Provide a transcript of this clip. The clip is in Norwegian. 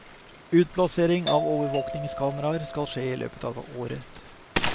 Utplassering av overvåkingskameraer skal skje i løpet av året.